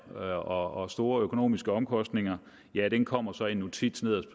og store økonomiske omkostninger kommer så i en notits nederst